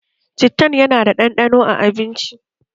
Cittan yana ƙara ɗanɗano a abincin